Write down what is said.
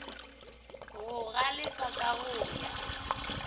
go galefa ka go ya